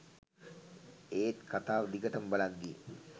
ඒත් කතාව දිගටම බලද්දි